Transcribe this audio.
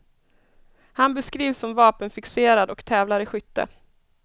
Han beskrivs som vapenfixerad och tävlar i skytte.